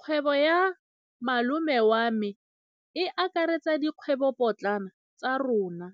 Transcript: Kgwêbô ya malome wa me e akaretsa dikgwêbôpotlana tsa rona.